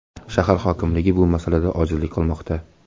Shahar hokimligi bu masalada ojizlik qilmoqda.